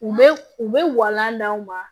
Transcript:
U bɛ u bɛ walan d'an ma